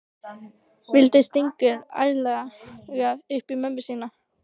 Vildi stinga ærlega upp í mömmu sína.